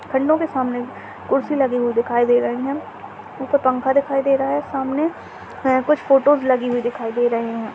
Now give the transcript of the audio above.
खंडो के सामने कुर्सी लगी हुई दिखाई दे रही हैं ऊपर पंखा दिखाई दे रहा हैं सामने हैं कुछ फोटोस लगी हुई दिखाई दे रहे हैं।